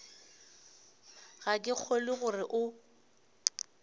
ga ke kgolwe gore o